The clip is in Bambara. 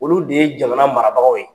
Olu de ye jamana marabagaw ye.